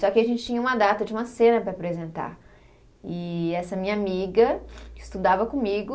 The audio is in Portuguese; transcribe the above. Só que a gente tinha uma data de uma cena para apresentar, e essa minha amiga estudava comigo,